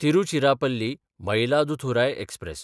तिरुचिरापल्ली–मयिलादुथुराय express